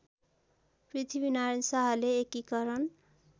पृथ्वीनारायण शाहले एकीकरण